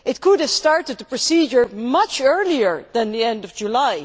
It could have started the procedure much earlier than the end of July.